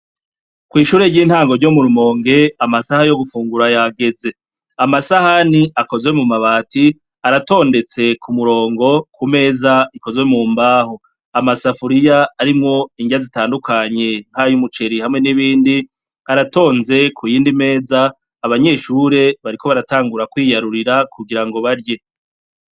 Kw'ishure ry'intango ryo murumonke amasaha yo gufungura yageze amasahani akozwe mu mabati aratondetse ku murongo ku meza ikozwe mu mbaho amasafuriya arimwo indya zitandukanye npa yo'umuceriy hamwe n'ibindi aratonze ku'yindi meza abanyeshure bariko barae angura kwiyarurira kugira ngo barye.